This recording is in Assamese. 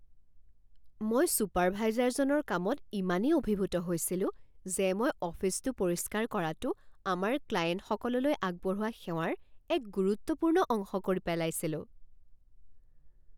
মই চুপাৰভাইজাৰজনৰ কামত ইমানেই অভিভূত হৈছিলো যে মই অফিচটো পৰিষ্কাৰ কৰাতোঁ আমাৰ ক্লায়েণ্টসকললৈ আগবঢ়োৱা সেৱাৰ এক গুৰুত্বপূৰ্ণ অংশ কৰি পেলাইছিলোঁ।